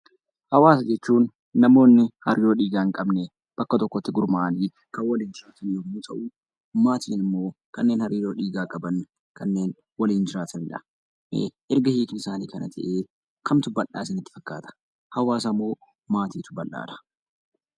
Hawaasa jechuun namoonni hariiroo dhiigaa hin qabne bakka tokkotti gurmaa'aanii kan waliin jiraatan yommuu ta'u; Maatiin immoo kan hariiroo dhiigaa qaban kanneen waliin jiraatanidha. Erga hiikni isaanii kana ta'ee kamtu bal'aa isinitti fakkaata? Hawaasa moo Maatiitu bal'aadha?